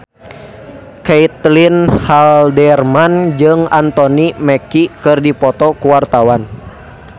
Caitlin Halderman jeung Anthony Mackie keur dipoto ku wartawan